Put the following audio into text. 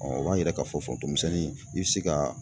o b'a yira k'a foronton denmisɛnnin i bɛ se ka